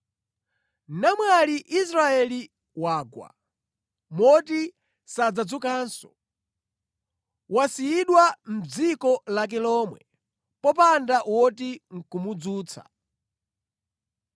“Namwali Israeli wagwa, moti sadzadzukanso, wasiyidwa mʼdziko lake lomwe, popanda woti ndi kumudzutsa.”